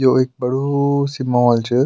यो एक बड़ू सी मॉल च।